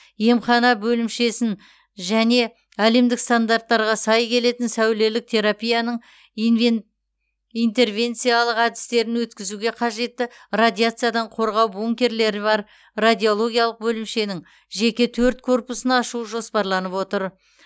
емхана бөлімшесін және әлемдік стандарттарға сай келетін сәулелік терапияның инвен интервенциялық әдістерін өткізуге қажетті радиациядан қорғау бункерлері бар радиологиялық бөлімшенің жеке төрт корпусын ашу жоспарланып отыр